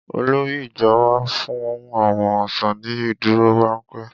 Olórí ìjọ wá fún àwọn ọ́ṣà ní ìdúrórámpẹ́.